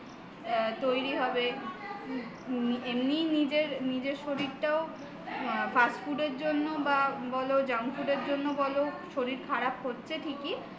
তৈরি হবে এমনিই নিজের শরীরটা fast food র জন্য বলো বা junk food র জন্য বলো শরীর খারাপ হচ্ছে ঠিকই